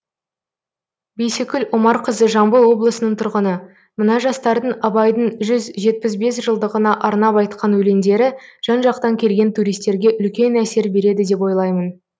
бейсекүл омарқызы жамбыл облысының тұрғыны мына жастардың абайдың жүз жетпіс бес жылдығына арнап айтқан өлеңдері жан жақтан келген туристерге үлкен әсер береді деп ойлаймын